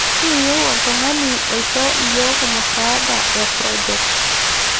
Kiyieu oltung'ani oisho iyiook musaada e project